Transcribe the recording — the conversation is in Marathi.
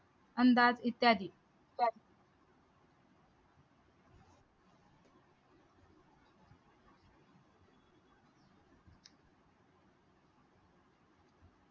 अंदाज इत्यादी